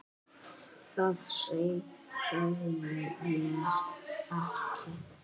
Það sagði ég ekki.